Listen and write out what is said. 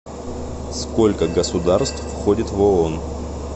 сколько государств входит в оон